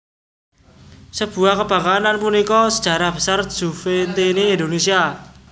Sebuah kebanggaan lan punika sejarah besar Juventini Indonesia